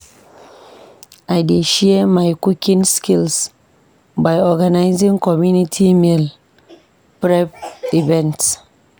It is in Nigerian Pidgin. I dey share my cooking skills by organizing community meal prep events.